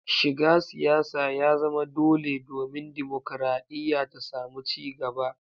Shiga siyasa ya zama dole domin dimokradiyya ta samu ci gaba.